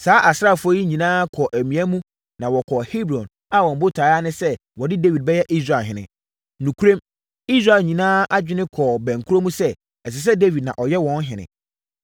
Saa asraafoɔ yi nyinaa kɔɔ amia mu na wɔkɔɔ Hebron a wɔn botaeɛ ara ne sɛ wɔde Dawid bɛyɛ Israelhene. Nokorɛm, Israel nyinaa adwene kɔɔ bɛnkorɔ mu sɛ, ɛsɛ sɛ Dawid na ɔyɛ wɔn ɔhene.